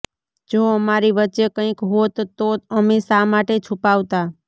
જો અમારી વચ્ચે કંઈક હોત તો અમે શા માટે છુપાવતા